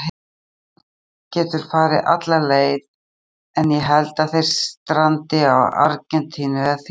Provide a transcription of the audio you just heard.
Spánn getur farið alla leið en ég held að þeir strandi á Argentínu eða Þýskaland